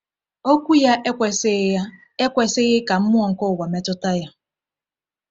Okwu ya ekwesịghị ya ekwesịghị ka mmụọ nke ụwa metụta ya.